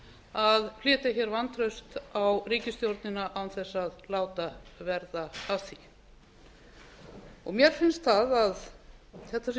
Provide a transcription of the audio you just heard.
að flytja vantraust á ríkisstjórnina án þess að láta verða af því mér finnst að þetta sé